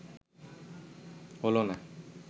হলো না